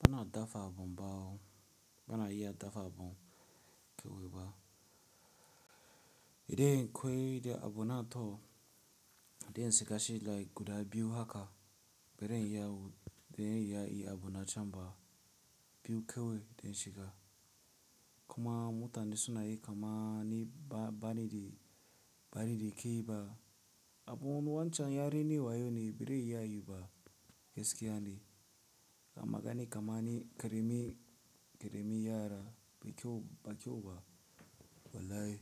Bana dafa abun bawo, bana iya dafa abun keweba. Idan kwaye da abun na toh, idan sikashi like guda biyu haka, bai da iya wud, bai da iya yi abun na can ba. Biyu kawai dan shiga, kuma mutane sunayi kamani ba, bani da, bani da ke ba. Abun wancan yare ne wayo ne, bare iya yi ba gaskiya ne. Kamani kamani, karami, karami yara bai kyau ba, bai kyau ba. Wallahi.